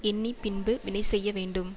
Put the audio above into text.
எண்ணி பின்பு வினைசெய்ய வேண்டும்